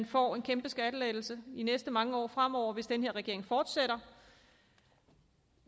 får en kæmpe skattelettelse de næste mange år fremover hvis denne regering fortsætter